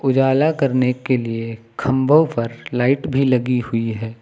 उजाला करने के लिए खम्भो पर लाइट भी लगी हुई है।